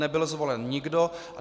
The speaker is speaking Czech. Nebyl zvolen nikdo.